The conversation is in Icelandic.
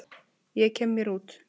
Ég kem mér út.